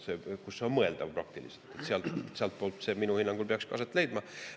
See on praktiliselt mõeldav, minu hinnangul peaks see niimoodi aset leidma.